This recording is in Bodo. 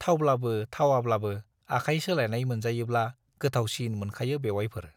थावब्लाबो थावाब्लाबो आखाय सोलायनाय मोनजायोब्ला गोथावसिन मोनखायो बेउवाइफोर।